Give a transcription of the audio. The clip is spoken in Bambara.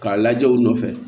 K'a lajɛ u nɔfɛ